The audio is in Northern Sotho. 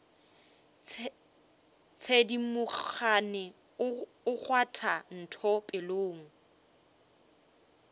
thedimogane o kgwatha ntho pelong